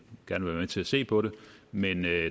til at se på det men der er